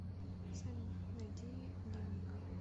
салют найди немига